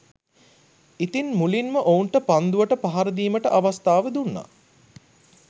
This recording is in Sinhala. ඉතින් මුලින් ඔවුන්ට පන්දුවට පහර දීමට අවස්ථාව දුන්නා